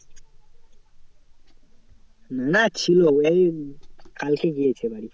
না ছিল এই কালকে গিয়েছে বাড়ি।